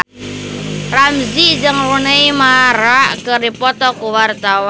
Ramzy jeung Rooney Mara keur dipoto ku wartawan